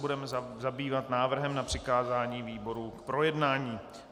Budeme zabývat návrhem na přikázání výboru k projednání.